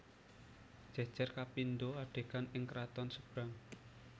Jejer kapindo adegan ing keraton Sebrang